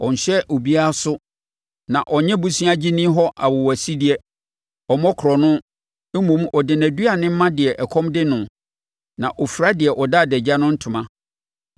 Ɔnhyɛ obiara so na ɔnnye boseagyeni hɔ awowasideɛ. Ɔmmɔ korɔno, mmom ɔde nʼaduane ma deɛ ɛkɔm de noɔ na ɔfira deɛ ɔda adagya no ntoma.